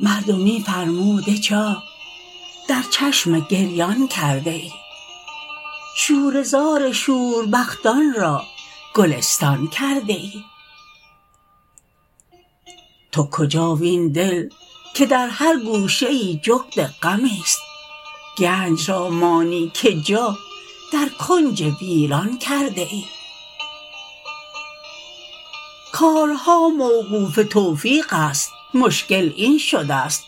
مردمی فرموده جا در چشم گریان کرده ای شوره زار شور بختان را گلستان کرده ای تو کجا وین دل که در هر گوشه ای جغد غمی ست گنج را مانی که جا در کنج ویران کرده ای کارها موقوف توفیق است مشکل این شدست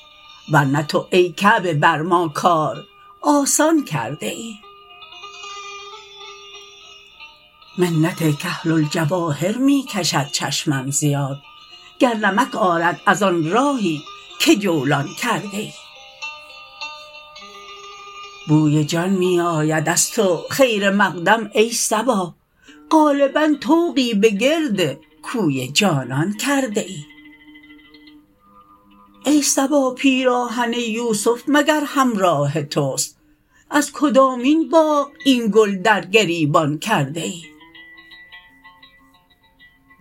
ورنه تو ای کعبه بر ما کار آسان کرده ای منت کحل الجواهر می کشد چشمم زیاد گر نمک آرد از آن راهی که جولان کرده ای بوی جان می آید از تو خیر مقدم ای صبا غالبا طوقی به گرد کوی جانان کرده ای ای صبا پیراهن یوسف مگر همراه تست از کدامین باغ این گل در گریبان کرده ای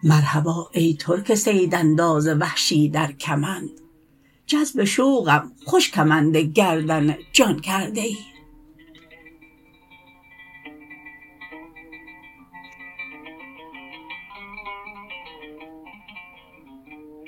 مرحبا ای ترک صید انداز وحشی در کمند جذب شوقم خوش کمند گردن جان کرده ای